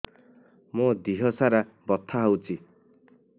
ମୋ ଦିହସାରା ବଥା ହଉଚି